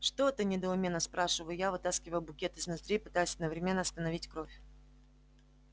что-то недоуменно спрашиваю я вытаскивая букет из ноздри пытаясь одновременно остановить кровь